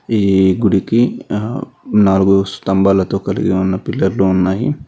ఈ గుడికి ఆ నాలుగు స్తంభాలతో కలిగి ఉన్న పిల్లర్లు ఉన్నాయి.